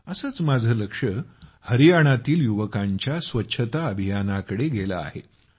असंच माझं लक्ष हरियाणातील युवकांच्या स्वच्छता अभियानाकडे गेलं आहे